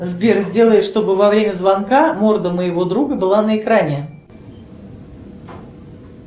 сбер сделай чтобы во время звонка морда моего друга была на экране